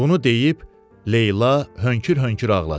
Bunu deyib Leyla hönkür-hönkür ağladı.